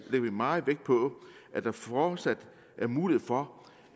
vi meget vægt på at der fortsat er mulighed for